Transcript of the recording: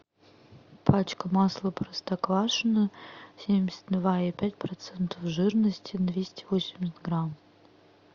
пачка масла простоквашино семьдесят два и пять процентов жирности двести восемьдесят грамм